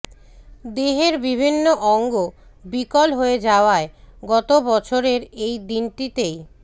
দেহের বিভিন্ন অঙ্গ বিকল হয়ে যাওয়ায় গত বছরের এই দিনটিতেই